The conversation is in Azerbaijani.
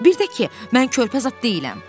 Bir də ki, mən körpə zad deyiləm.